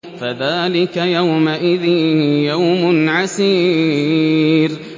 فَذَٰلِكَ يَوْمَئِذٍ يَوْمٌ عَسِيرٌ